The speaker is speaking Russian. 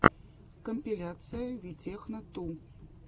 компиляция витехно ту